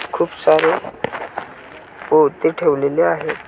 खूप सारे पोती ठेवलेले आहे.